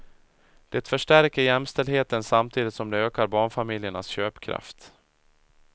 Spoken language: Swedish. Det förstärker jämställdheten samtidigt som det ökar barnfamiljernas köpkraft.